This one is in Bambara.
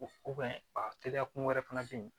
a teriya kun wɛrɛ fana bɛ yen